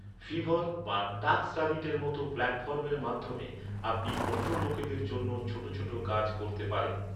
Fever বা টাস্কর‍্যাবিটের মতো প্ল্যাটফর্মের মাধ্যমে, আপনি অন্য লোকেদের জন্য ছোট ছোট কাজ করতে পারেন।